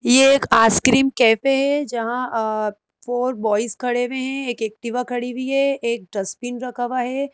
ये एक ice cream cafe है जहां फोर बॉयज खड़े हुए हैं एक एक्टिवा खड़ी हुई है एक डस्टबिन रखा हुआ है।